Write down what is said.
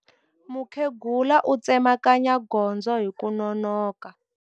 Mukhegula u tsemakanya gondzo hi ku nonoka.